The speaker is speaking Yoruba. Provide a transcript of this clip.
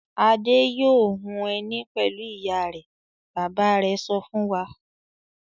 "Adé yóò hun ẹní pẹ̀lú ìyá rẹ̀!" Bàbá rẹ̀ sọ fún wa.